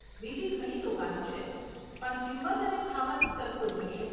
બીજી ઘણી દુકાનો છે, પણ કિંમત અને ખાવાનું સરખું જ હશે.